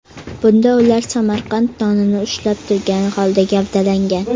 Bunda ular Samarqand nonini ushlab turgan holda gavdalangan.